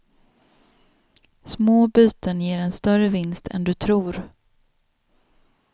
Små byten ger en större vinst än du tror.